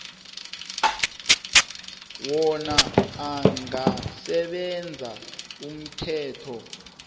wona angasebenzisa umthetho